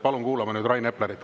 Palun kuulame nüüd Rain Eplerit.